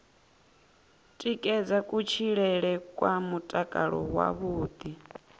tikedza kutshilele kwa mutakalo wavhuḓi